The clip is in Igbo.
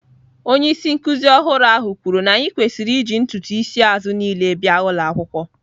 Onye isi nkuzi ọhụrụ ahụ kwuru na anyị kwesịrị iji ntutu isi azụ niile bịa ụlọ akwụkwọ.